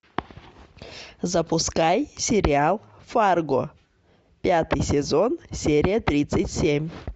запускай сериал фарго пятый сезон серия тридцать семь